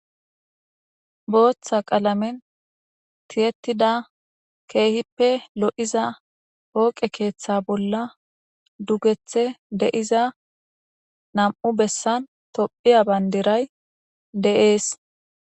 Boththa qalamera tiyetida kehippe gitanne gidida keththay. Dugethe de'iza nam''u tophphiya bandirati bettetes.